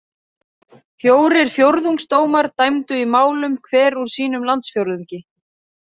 Fjórir fjórðungsdómar dæmdu í málum hver úr sínum landsfjórðungi.